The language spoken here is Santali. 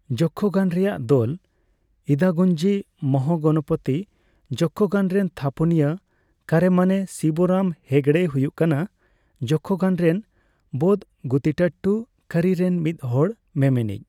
ᱡᱚᱠᱠᱷᱚᱜᱟᱱ ᱨᱮᱭᱟᱜ ᱫᱚᱞ, ᱤᱫᱟᱜᱩᱱᱡᱤ ᱢᱚᱦᱟᱜᱚᱱᱚᱯᱚᱛᱤ ᱡᱚᱠᱠᱷᱚᱜᱟᱱᱼ ᱨᱮᱱ ᱛᱷᱟᱯᱚᱱᱤᱭᱟᱹ ᱠᱮᱨᱮᱢᱟᱱᱮ ᱥᱤᱵᱚᱨᱟᱢ ᱦᱮᱜᱲᱮᱭ ᱦᱩᱭᱩᱜ ᱠᱟᱱᱟ ᱡᱚᱠᱠᱷᱚᱜᱟᱱ ᱨᱮᱱ ᱵᱚᱫᱜᱩᱛᱤᱴᱴᱩ ᱠᱟᱹᱨᱤ ᱨᱮᱱ ᱢᱤᱫ ᱦᱚᱲ ᱢᱮᱢᱮᱱᱤᱡ ᱾